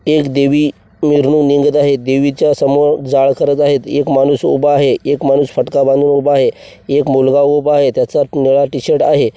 एक देवी मिरवणूक निघत आहे देवीच्या समोर जाळ करत आहेत एक माणूस उभा आहे एक माणूस फटका बांधून उभा आहे एक मुलगा उभा आहे त्याच्यात निळा टी_शर्ट आहे.